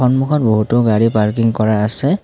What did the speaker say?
সন্মুখত বহুতো গাড়ী পাৰ্কিং কৰা আছে।